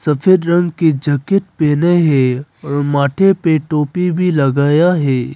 सफेद रंग की जैकेट पहने हैं और माथे पे टोपी भी लगाया है।